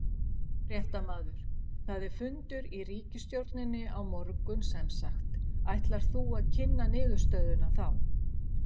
Fréttamaður: Það er fundur í ríkisstjórninni á morgun semsagt, ætlar þú að kynna niðurstöðuna þá?